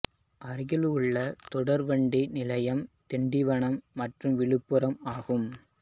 அருகிலுள்ள தொடர் வண்டி நிலையம் திண்டிவனம் மற்றும் விழுப்புரம் ஆகும்